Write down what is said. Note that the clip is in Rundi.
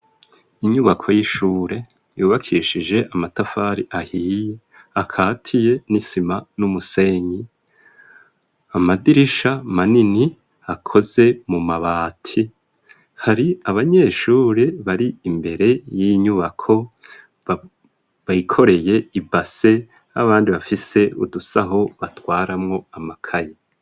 Inyubako y'ishure yubakishije amatafari ahiye akaziye n'isima numusenyi amadirisha manini akozwe mu mabati hari abanyeshure bari imbere y'inyubako bikoreye ibase n'abandi bafise udusaho batwaramwo amakaye.